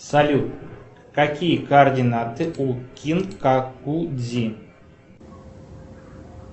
салют какие координаты у кинкаку дзи